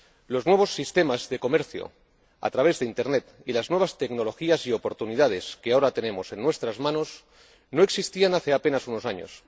Los nuevos sistemas de comercio a través de Internet y las nuevas tecnologías y oportunidades que ahora tenemos en nuestras manos no existían hace apenas unos años.